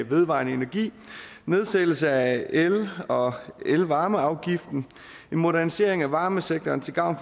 vedvarende energi nedsættelse af el og elvarmeafgiften en modernisering af varmesektoren til gavn